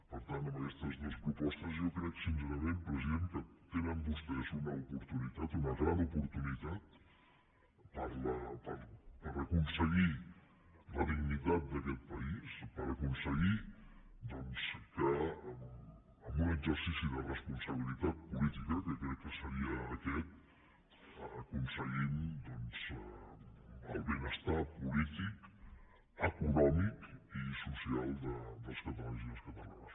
per tant amb aquestes dues propostes jo crec sincerament president que tenen vostès una oportunitat una gran oportunitat per aconseguir la dignitat d’aquest país per aconseguir que en un exercici de responsabilitat política que crec que seria aquest aconseguim el benestar polític econòmic i social dels catalans i les catalanes